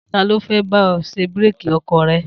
Ta ló fẹ́ bá ẹ ṣe búrékì ọkọ̀ rẹ?